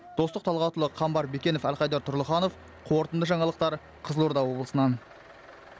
достық талғатұлы қамбар бекенов әлхайдар тұрлыханов қорытынды жаңалықтар қызылорда облысынан